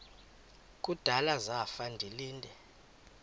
kudala zafa ndilinde